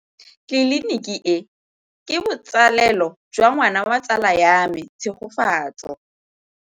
Tleliniki e, ke botsalêlô jwa ngwana wa tsala ya me Tshegofatso.